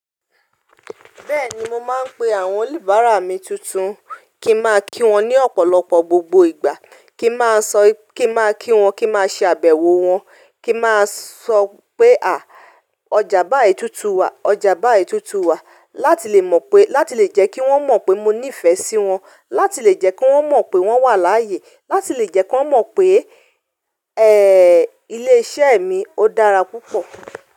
Bẹ́ẹ̀ni, mo máa ń pe àwọn oníbàárà mi tuntun, kí n máa kí wọn ní ọ̀pọ̀lọpọ̀ gbogbo ìgbà, kí n máa sọ kí n máa kí wọn, kí n máa ṣe àbẹ̀wò wọn, kí n máa sọ pé à, ọjà báyi túntùn wà, ọjà báyi túntùn wà. Láti lè mọ̀ pé, láti lè jẹ́ kí wọ́n mọ̀ pé mo nífẹ̀ẹ́ sí wọn, láti lè jẹ́ kí wọ́n mọ̀ pé wọ́n wà láàyè, láti lè jẹ́ kí wọ́n mọ̀ pé, ẹ, ilé iṣẹ́ mi ó dára púpọ̀.